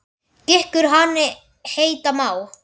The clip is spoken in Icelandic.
Gikkur hani heita má.